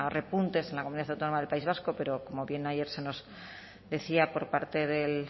repuntes en la comunidad autónoma del país vasco pero como bien ayer se nos decía por parte del